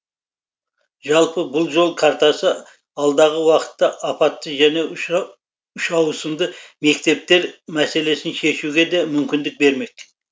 жалпы бұл жол картасы алдағы уақытта апатты және үшауысымды мектептер мәселесін шешуге де мүмкіндік бермек